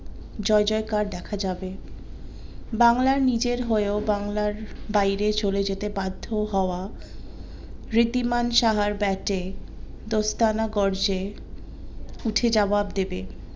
জয় জয় কার দেখা যাবে বাংলার নিজের হয়ে ও বাংলার বাইরে চলে যেতে বাধ্য হওয়া রিদিমান সাহার ব্যাটে দোস্তানা করছে উঠে জাবাব দিবে।